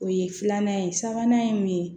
O ye filanan ye sabanan ye mun ye